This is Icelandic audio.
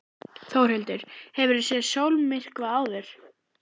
Þórhildur: Hefurðu séð sólmyrkva áður?